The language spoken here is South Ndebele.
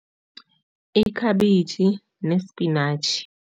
Ikhabitjhi nesipinatjhi.